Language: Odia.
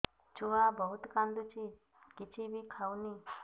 ଛୁଆ ବହୁତ୍ କାନ୍ଦୁଚି କିଛିବି ଖାଉନି